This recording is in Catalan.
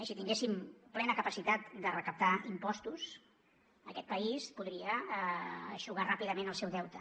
si tinguéssim plena capacitat de recaptar impostos aquest país podria eixugar ràpidament el seu deute